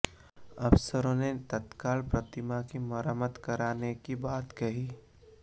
अफसरों ने तत्काल प्रतिमा की मरम्मत कराने की बात कही